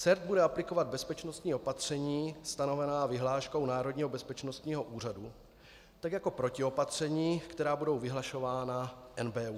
CERT bude aplikovat bezpečnostní opatření stanovená vyhláškou Národního bezpečnostního úřadu, tak jako protiopatření, která budou vyhlašována NBÚ.